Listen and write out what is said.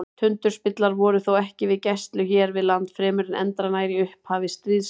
Tundurspillar voru þó ekki við gæslu hér við land fremur en endranær í upphafi stríðsins.